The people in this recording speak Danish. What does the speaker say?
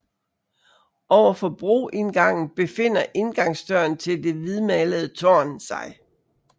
Overfor broindgangen befinder indgangsdøren til det hvidmalede tårn sig